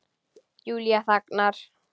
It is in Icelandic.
Júlía þagnar.